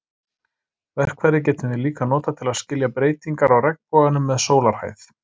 Verkfærið getum við líka notað til að skilja breytingar á regnboganum með sólarhæð.